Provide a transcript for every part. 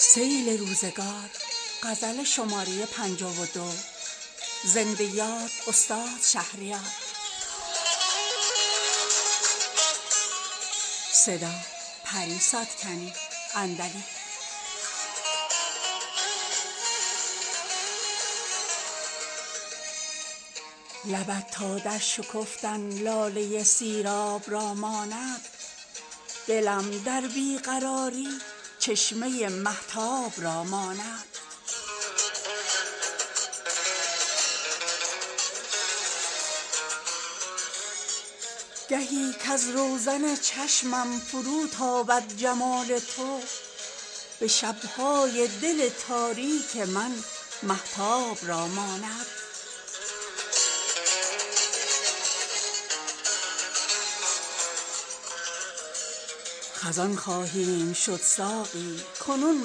لبت تا در شکفتن لاله سیراب را ماند دلم در بیقراری چشمه مهتاب را ماند گهی کز روزن چشمم فرو تابد جمال تو به شب های دل تاریک من مهتاب را ماند خزان خواهیم شد ساقی کنون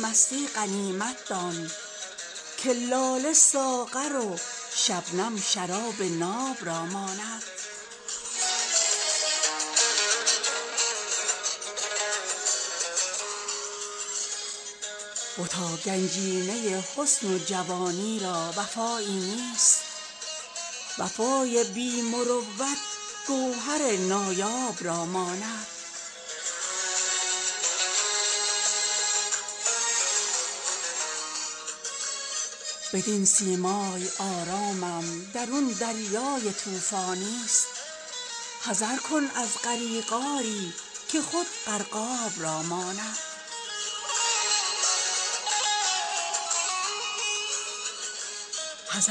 مستی غنیمت دان که لاله ساغر و شبنم شراب ناب را ماند گذشته روزگاران بین که دوران شباب ما در این سیلاب غم دسته گلی شاداب را ماند بتا گنجینه حسن و جوانی را وفایی نیست وفای بی مروت گوهر نایاب را ماند ز دورم دوستدارانند و از نزدیک خونخواران وفای خلق با من رستم و سهراب را ماند بدین سیمای آرامم درون دریای طوفانیست حذر کن از غریق آری که خود غرقاب را ماند بجز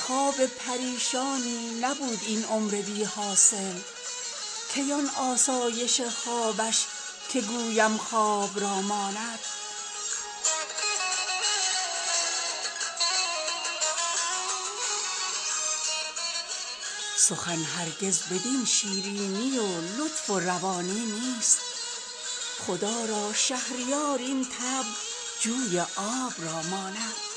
خواب پریشانی نبود این عمر بی حاصل کی آن آسایش خوابش که گویم خواب را ماند حیات و روشنی را رمز شیرینی ندانم چیست ولی مرگ سیاهش همسر ناباب را ماند بنفشه دختر شکرلب دهقان نماید لیک مغیلانش به صد نیش زبان ارباب را ماند سخن هرگز بدین شیرینی و لطف و روانی نیست خدا را شهریار این طبع جوی آب را ماند